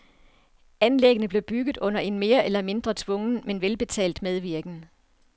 Anlæggene blev bygget under en mere eller mindre tvungen, men velbetalt medvirken.